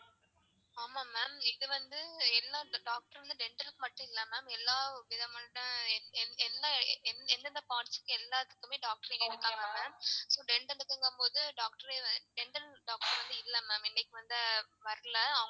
ஆமா ma'am இங்க வந்து எல்லா doctor வந்து dental கு மட்டும் இல்ல ma'am எல்லா விதமான எந்த எந்தெந்த part க்கு எல்லாத்துக்குமே doctor இங்க இருக்காங்க ma'am so dental க்குனு போது doctor dental doctor வந்து இல்ல ma'am இன்னைக்கு வந்து வரல.